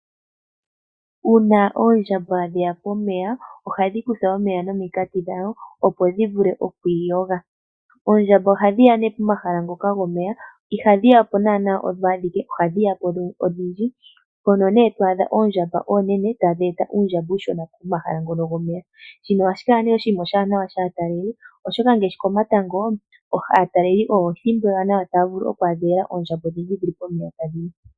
Uuna oondjamba dheya pomeya, ohadhi kutha omeya nominkati dhadho opo dhi vule iku iyoga. Oondjamba ohadhi ya nee pomahala ngoka gomeya. Ihadhi yapo naana odho adhike, ohadhi yapo odhindji. Mpono nee to adha oondjamba oonene tadhi eta uundjamba uushona pomahala gomeya. Shino ohashi kala nee oshiwanawa kaatalelipo shaashi ngashi komatango olyo ethimbo ewanawa aataleli taya adha oondjamba pomeya tadhi nu.